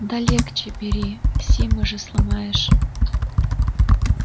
да легче бери симы же сломаешь